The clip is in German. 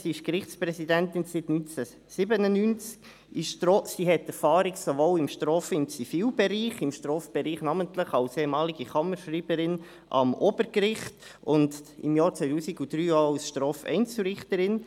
Sie ist seit 1997 Gerichtspräsidentin, hat Erfahrung sowohl im Straf- als auch im Zivilbereich, im Strafbereich namentlich als ehemalige Kammerschreiberin am Obergericht und im Jahr 2003 auch als StrafEinzelrichterin.